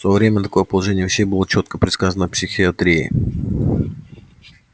в своё время такое положение вещей было чётко предсказано психоисторией